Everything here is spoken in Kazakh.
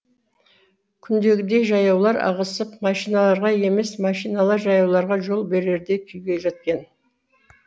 күндегідей жаяулар ығысып машиналарға емес машиналар жаяуларға жол берердей күйге жеткен